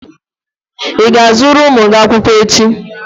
Ị ga-azụrụ ụmụ gị akwụkwọ echi?